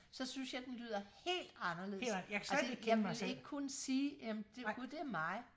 så synes jeg den lyder helt anderledes altså jeg ville ikke kunne sige jamen gud det er mig